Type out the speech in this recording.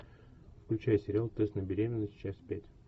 включай сериал тест на беременность часть пять